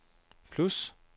plus